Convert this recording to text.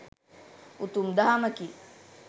උතුම් දහමකි.